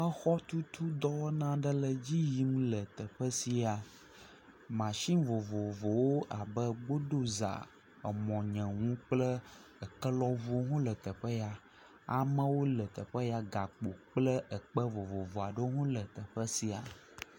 exɔtutu dɔwɔna ɖe le dziyim le teƒesia machine vovovowo abe gbodoza, amɔnyehū kple ekelɔʋuwo hõ le teƒe ya amewo kple gakpo kple ekpe vovovo aɖewo hɔ̃ le teƒeya